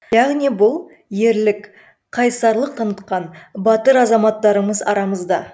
яғни бұл ерлік қайсарлық танытқан батыр азаматтарымыз арамызда